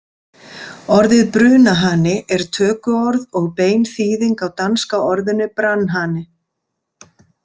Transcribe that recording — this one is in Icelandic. Orðið brunahani er tökuorð og bein þýðing á danska orðinu brandhane.